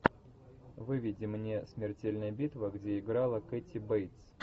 выведи мне смертельная битва где играла кэти бейтс